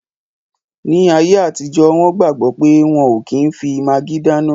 Ní ayé àtijọ́, wọn gbàgbọ̀ pé wọ́n ò kí n fi magí dáná